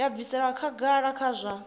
ya bvisela khagala kha zwa